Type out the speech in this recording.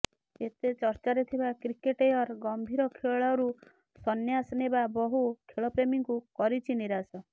ଏତେ ଚର୍ଚ୍ଚାରେ ଥିବା କ୍ରିକେଟୟର ଗମ୍ଭୀର ଖେଳରୁ ସନ୍ୟାସନେବା ବହୁ ଖେଳପ୍ରେମୀଙ୍କୁ କରିଛି ନିରାଶ